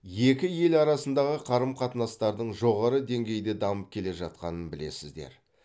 екі ел арасындағы қарым қатынастардың жоғары деңгейде дамып келе жатқанын білесіздер